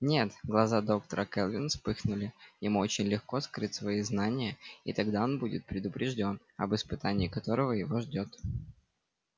нет глаза доктора кэлвин вспыхнули ему очень легко скрыть свои знания и тогда он будет предупреждён об испытании которое его ждёт